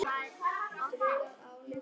Hverjum þætti það ekki gaman?